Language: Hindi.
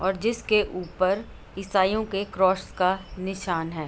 और जिसके ऊपर इसाइयों के क्रॉस का निशान है।